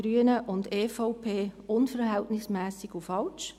Grüne und EVP unverhältnismässig und falsch.